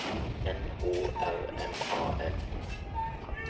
N O R M A L